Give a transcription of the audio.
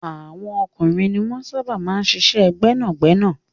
Àwọn ọkùnrin ni wọ́n sábà máa ń ṣiṣẹ́ gbẹ́nàgbẹ́nà.